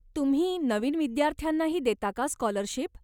तुम्ही नवीन विद्यार्थ्यांनाही देता का स्कॉलरशिप?